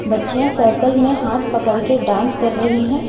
बच्चियां सर्कल में हाथ पकड़ के डांस कर रही हैं।